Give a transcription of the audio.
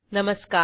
नमस्कार